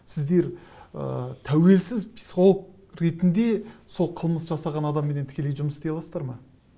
сіздер ы тәуелсіз психолог ретінде сол қылмыс жасаған адамменен тікелей жұмыс істей аласыздар ма